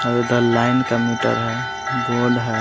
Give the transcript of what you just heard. The line का meter है board है।